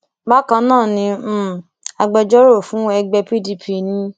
bákan náà ni um agbẹjọrò fún ẹgbẹ pdp n